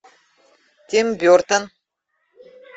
тим бертон